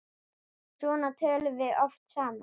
Svona töluðum við oft saman.